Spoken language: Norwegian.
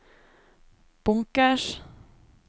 bunkers